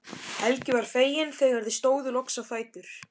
Helgi var feginn þegar þau stóðu loks á fætur.